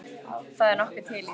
Það er nokkuð til í því.